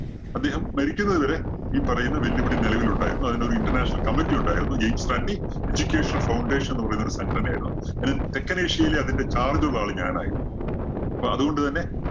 അദ്ദേഹം മരിക്കുന്നത് വരെ ഈ പറയുന്ന വെല്ലുവിളി നിലവിൽ ഉണ്ടായിരുന്നു. അതിനൊരു International committee ഉണ്ടായിരുന്നു ജെയിംസ് റാൻഡി എഡ്യൂക്കേഷണൽ ഫൌണ്ടേഷൻ എന്ന് പറയുന്നൊരു സംഘടനയായിരുന്നു. തെക്കൻ ഏഷ്യയിലെ അതിന്റെ charge ഉള്ള ആള് ഞാനായിരുന്നു. അപ്പോ അത് കൊണ്ട് തന്നെ